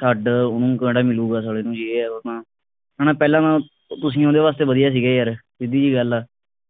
ਛੱਡ ਉਹਨੂੰ ਕਿਹੜਾ ਮਿਲੇਗਾ ਸਾਲੇ ਨੂੰ ਯੇਹ ਆਪਾ ਹਣਾ ਪਹਿਲਾਂ ਨਾ ਤੁਸੀਂ ਉਹਦੇ ਵਾਸਤੇ ਵਧੀਆ ਸੀਗੇ ਯਾਰ ਸਿੱਧੀ ਜੀ ਗੱਲ ਆ